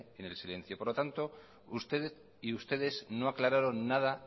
en el silencio por lo tanto usted y ustedes no aclararon nada